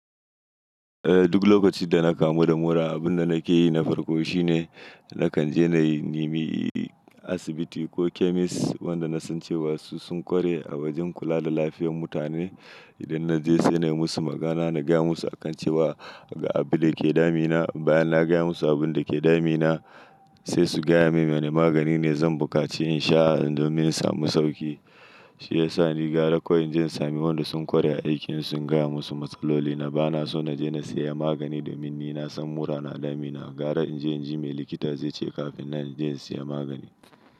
Eh duk lokacin da na kamu da mura abunda nake yi na farko shine nakan je na yi nimi asibiti ko chemist wanda na san cewa su sun ƙware a wajen kula da lafiyar mutane. Idan na je sai na yi musu magana na gaya musu akan cewa ga abinda yake damina bayan na gaya musu abinda yake damina sai su gaya min wane magani ne zan buƙaci in sha don min samu sauƙi. Shi yasa ni gara ko in je in sami wanda sun ƙware a aikin su ingaya musu matsaloli na ba na so na je na saya magani domin ni na san mura na damina. Gara in je in ji me likita zai ce kafin nan in je in saya magani.